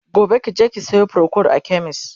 gobe kije ki Sayo procold a chemist!